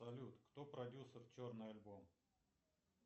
салют кто продюсер черный альбом